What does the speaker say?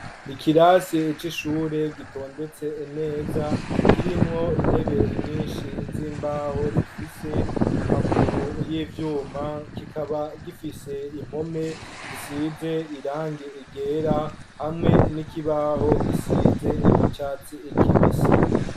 Ikirasi c'ishure gitondetse neza kirimwo intebe nyinshi z'imbaho zifise amaguru y'ivyuma kikaba gifise impome zisize irangi ryera hamwe n'ikibaho gisize iry'icatsi kibisi.